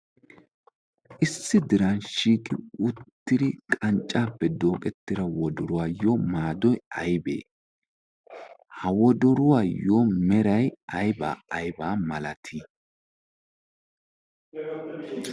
issi diransshiqi uttidi qanccaappe dooqettira wodoruwaayyo maadoy aybee ha wodoruwaayyo meray aybaa aybaa malatii?